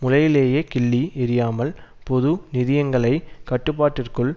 முளையிலேயே கிள்ளி எறியாமல் பொது நிதியங்களை கட்டுப்பாட்டிற்குள்